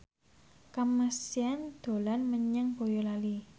Kamasean dolan menyang Boyolali